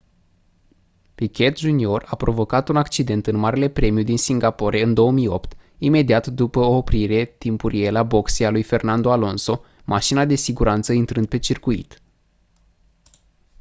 piquet jr a provocat un accident în marele premiu din singapore în 2008 imediat după o oprire timpurie la boxe a lui fernando alonso mașina de siguranță intrând pe circuit